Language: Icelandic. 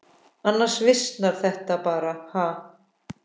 Annars visnar það bara, ha.